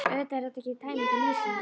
Auðvitað er þetta ekki tæmandi lýsing.